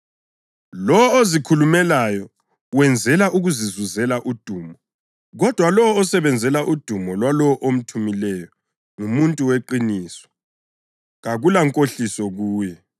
Lowo ozikhulumelayo wenzela ukuzizuzela udumo, kodwa lowo osebenzela udumo lwalowo omthumileyo ngumuntu weqiniso; kakulankohliso kuye.